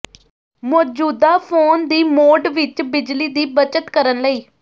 ਮੌਜੂਦਾ ਫੋਨ ਦੀ ਮੋਡ ਵਿੱਚ ਬਿਜਲੀ ਦੀ ਬਚਤ ਕਰਨ ਲਈ